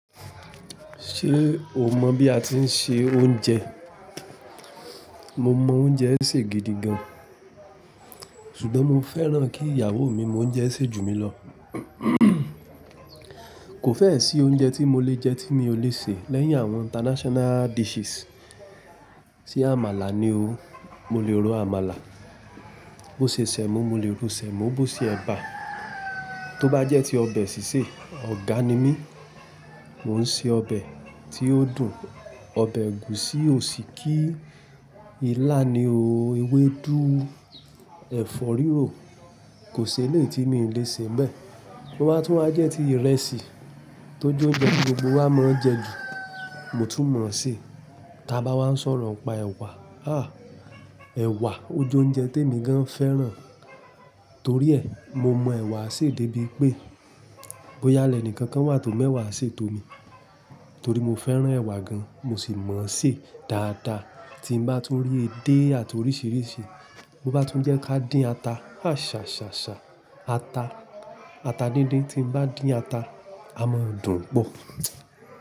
Ṣé o mọ̀ bí a ti ń se oúnjẹ? Mo mọ oúnjẹ sè gidi gan. Ṣùgbọ́n mo fẹ́ràn kí ìyàwó mi mo oúnjẹ sè jù mí lọ. Kò fé sí oúnjẹ tí mo lè jẹ tí mi ò lè ṣẹ lẹ́yìn àwọn international dishes se àmàlà ní o. Mo lè ro àmàlà. Bó ṣe sẹ̀mọ́, mo lè ro sẹ̀mọ́, bó ṣe ẹ̀bà. Tóbá jẹ́ ti ọbẹ̀ sísè, ọ̀gá ni mí. Mo ń se ọbẹ̀ tí ó dùn. Ọbẹ̀ ẹ̀gúsí, òsíkí, ilá ni o, ewédú, ẹ̀fọ́ rírò. Kò sí ẹleyi tí mi ò le sẹ́ n bè. To ba tún wá jẹ́ ti ìrẹsì, tó jó oúnjẹ tí gbogbo wá mọ̀ n jẹ ju, mo tún mọ̀ ṣé. Ta bá wá ń sọ̀rọ̀ nípa ẹ̀wà. Ẹwà, ó jẹ́ oúnjẹ tí èmi gan fẹ́ràn. Torí ẹ, mo mọ ẹwà sè débi pé, bó yá lẹ níkan kan wà tó mọ ẹwà ṣe tó mi. Torí mo fẹ́ràn ẹ̀wa gan, mo sì mọ̀ ṣé dáadáa. Tí n bá tún rí edé àti oríṣìíríṣìí, bo bá tún jẹ́ ká dín ata. Àṣá, ṣà, ṣà. Ata, ata dídin tí n bá din ata, a mọ dùn pọ̀.